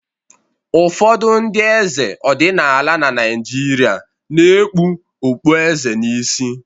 Ụfọdụ ndị eze ọdịnala na Naịjirịa na-ekpu okpueze n'isi